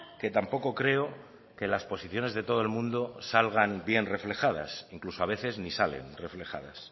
que tampoco creo que las posiciones de todo el mundo salgan bien reflejadas incluso a veces ni salen reflejadas